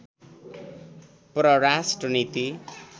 परराष्ट्र नीति